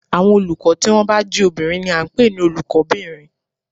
Àwọn olùkọ́ tí wọ́n bá jé obìnrin ni a n pè ní Olùkó bìnrin